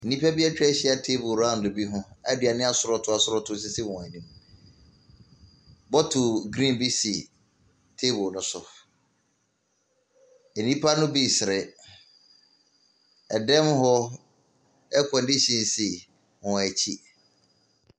Nnipa bi atwa ahyia table round bi ho a aduane asorɔtoo asorɔ too sisi wɔn anim. Bottle green bi si table no so. Nnipa no bi resere. Dan mu hɔ, air condition si wɔn akyi.